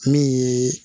Min ye